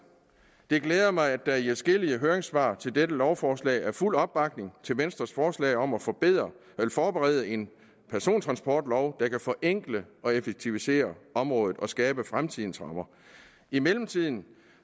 det glæder mig at der i adskillige høringssvar til dette lovforslag er fuld opbakning til venstres forslag om at forberede en persontransportlov der kan forenkle og effektivisere området og skabe fremtidens rammer i mellemtiden